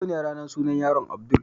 Yau ne ranar sunan yaron Abdul